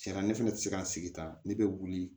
Cɛn na ne fɛnɛ ti se ka n sigi ta ne be wuli